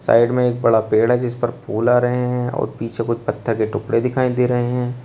Side में एक बड़ा पेड़ है जीस पर फूल आ रहे हैं और पीछे कोई पत्थर के टुकड़े दिखाई दे रहे हैं।